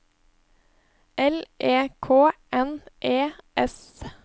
L E K N E S